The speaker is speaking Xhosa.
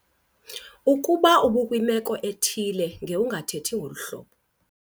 Ukuba ubukwimeko ethile ngowungathethi ngolu hlobo.